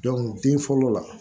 bin fɔlɔ la